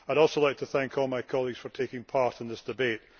I would also like to thank all my colleagues for taking part in this debate.